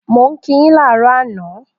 Mo n ki yin laarọ àná